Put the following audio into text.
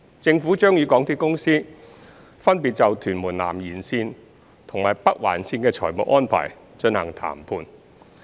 政府將與港鐵公司分別就屯門南延綫及北環綫的財務安排進行談判。